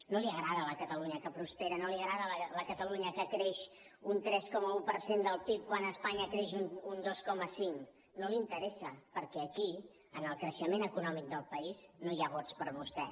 no li agrada la catalunya que prospera no li agrada la catalunya que creix un tres coma un per cent del pib quan espanya creix un dos coma cinc no li interessa perquè aquí en el creixement econòmic del país no hi ha vots per vostè